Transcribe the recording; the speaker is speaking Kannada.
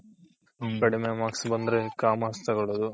ಕಡ್ಮೆ marks ಬಂದ್ರೆ Commerce ತಗೊಳುದು